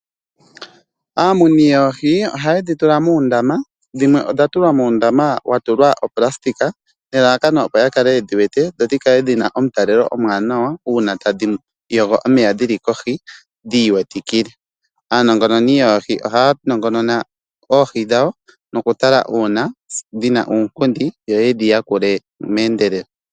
Aamuni yoohi ohaye dhi tula muundama, dhimwe odha tulwa muundama wa tulwa oplastic nelalakano opo ya kale yedhi wete dho dhi kale dhi na omutalelo omwaanawa uuna tadhi yogo omeya dhi li kohi dhi iwetikile. Aanongononi yoohi ohaa nongonona oohi dhawo nokutala uuna dhi na uunkundi yo ye dhi yakule meendelelo.